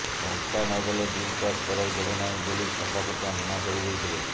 ଟଙ୍କା ନଦେଲେ bill pass କରାଇ ଦେବେ ନାହିଁ ବୋଲି ସଫା ସଫା ମନା କରିଦେଇଥିଲେ